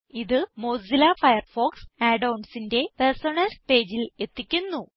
ഇത് Mozilla Firefox Add onsന്റെ personas പേജിൽ എത്തിക്കുന്നു